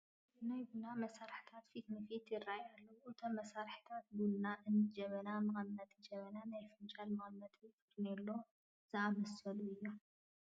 ናይ ቡና መሳርሕታት ፊት ንፊት ይርአዩና ኣለዉ፡፡ እቶም መሳርሒታት ቡና እኒ ጀበና፣ መቐመጢ ጀበና፣ ናይ ፈናጅል መቐመጢ፣ ፈርኔሎ ዝኣምሰሉ እዮም፡፡